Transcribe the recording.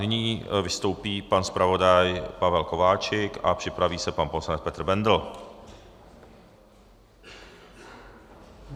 Nyní vystoupí pan zpravodaj Pavel Kováčik a připraví se pan poslanec Petr Bendl.